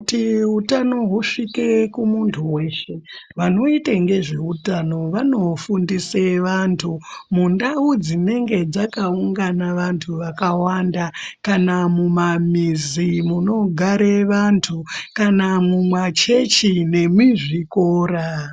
Kuti utano husvike kumuntu weshe, vanoite ngezveutano vanofundise vantu, mundau dzinenge dzakaungana vantu vakawanda, kana mumamizi munogare vantu ,kana mumachechi nemizvikora.